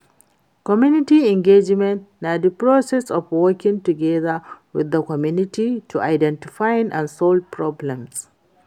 Community engagement na di process of working together with di community to identify and solve problems.